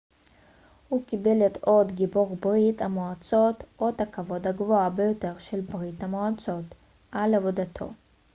הוא קיבל את אות גיבור ברית המועצות אות הכבוד הגבוה ביותר של ברית המועצות על עבודתו